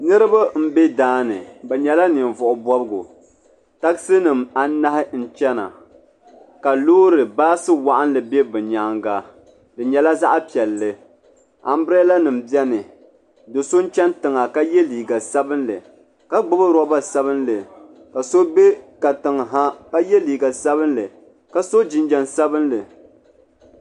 Niriba m be daani bɛ nyɛla ninvuɣu bobgu tagisi nima anahi n chana ka loori boosu waɣinli be bɛ nyaanga di nyela zaɣa piɛlli ambilada nima biɛni do'so n chana yiŋa ka ye liiga sabinli ka gbibi loba sabinli ka so be katiŋ ha ka ye liiga sabinli ka so jinjiɛm sabinli.